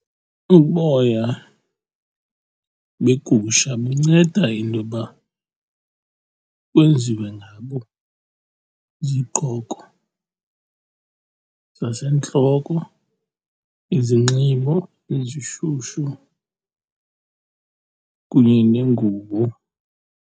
Uboya begusha bunceda intoba kwenziwe ngabo iziqqoko zasentloko, izinxibo ezishushu kunye neengubo.